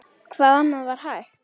Hvað annað var hægt?